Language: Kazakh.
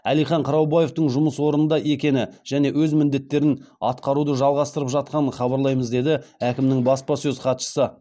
әлихан қыраубаевтың жұмыс орнында екені және өз міндеттерін атқаруды жалғастырып жатқанын хабарлаймыз деді әкімнің баспасөз хатшысы